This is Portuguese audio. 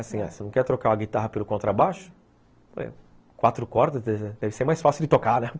Assim, se você não quer trocar a guitarra pelo contrabaixo, eu falei, quatro cordas deve ser mais fácil de tocar, né?